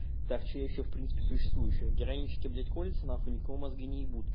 так что ещё в принципе существующее героинщики блять колются нахуй никому мозги не ебут